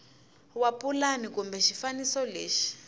wa pulani kumbe xifaniso lexi